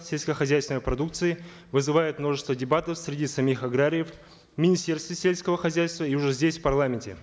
сельскохозяйственной продукции вызывает множество дебатов среди самих аграриев в министерстве сельского хозяйства и уже здесь в парламенте